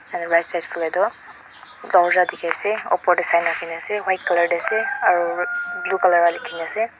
aro right side falae toh dorwaja diki asae opor dae sign rakina asae aro blue colour para likikina asae.